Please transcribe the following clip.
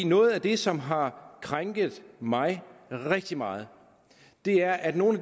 noget af det som har krænket mig rigtig meget er at i nogle